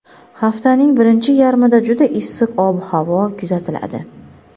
Haftaning birinchi yarmida juda issiq ob-havo kuzatiladi.